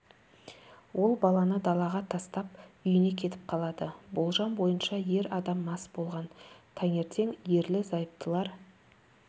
ол баланы далаға тастап үйіне кетіп қалады болжам бойынша ер адам мас болған таңертең ерлі-зайыптылар